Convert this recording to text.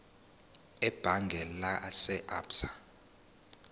ebhange lase absa